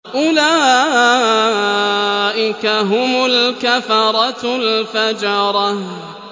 أُولَٰئِكَ هُمُ الْكَفَرَةُ الْفَجَرَةُ